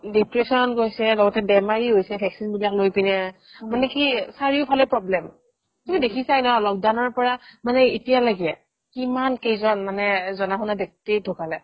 depression গৈছে লগতে বেমাৰী হৈছে vaccine বিলাক লৈ পিনে মানে কি চাৰিওফালে problem তুমি দেখিছাই ন lockdown ৰ পৰা মানে এতিয়ালৈকে কিমান কেইজন মানে এ জনা-শুনা ব্যক্তি ঢুকালে